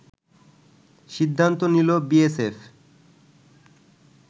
সিদ্ধান্ত নিল বিএসএফ